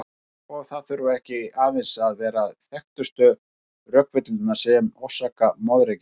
Og það þurfa ekki aðeins að vera þekktustu rökvillurnar sem orsaka moðreykinn.